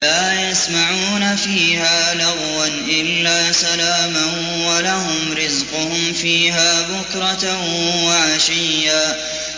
لَّا يَسْمَعُونَ فِيهَا لَغْوًا إِلَّا سَلَامًا ۖ وَلَهُمْ رِزْقُهُمْ فِيهَا بُكْرَةً وَعَشِيًّا